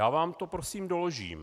Já vám to prosím doložím.